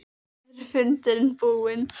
Er fundurinn búinn?